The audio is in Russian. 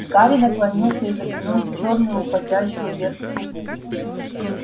гарри наклонился и заглянул в чёрную уходящую вверх трубу